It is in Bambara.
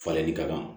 Falenli ka kan